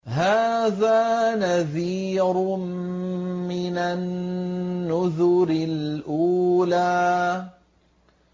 هَٰذَا نَذِيرٌ مِّنَ النُّذُرِ الْأُولَىٰ